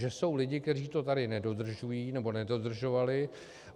Že jsou lidé, kteří to tady nedodržují nebo nedodržovali.